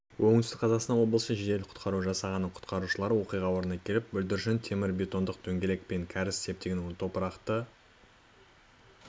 оңтүстік қазақстан облысы жедел-құтқару жасағының құтқарушылары оқиға орнына келіп бүлдіршін темірбетонды дөңгелек пен кәріз септигінің топырақты